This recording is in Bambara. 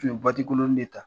N tun bɛ ikolonnin de ta!